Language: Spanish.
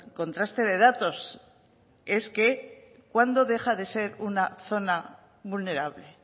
contraste de datos cuándo deja de ser una zona vulnerable